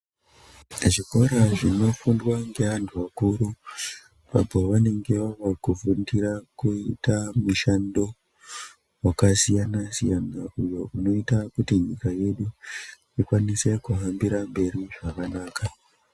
Zvikora zvino fundwa nge antu akuru apo vanenge vava kufundira kuita mushando waka siyana siyana uyo unoita kuti nyika yedu ikwanise kuhambira mberi zvakanaka.